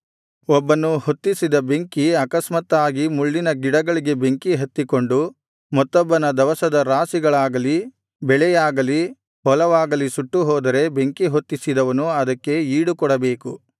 ಒಬ್ಬನು ಹೊತ್ತಿಸಿದ ಬೆಂಕಿ ಆಕಸ್ಮಾತ್ತಾಗಿ ಮುಳ್ಳಿನ ಗಿಡಗಳಿಗೆ ಬೆಂಕಿ ಹತ್ತಿಕೊಂಡು ಮತ್ತೊಬ್ಬನ ದವಸದ ರಾಶಿಗಳಾಗಲಿ ಬೆಳೆಯಾಗಲಿ ಹೊಲವಾಗಲಿ ಸುಟ್ಟು ಹೋದರೆ ಬೆಂಕಿ ಹೊತ್ತಿಸಿದವನು ಅದಕ್ಕೆ ಈಡುಕೊಡಬೇಕು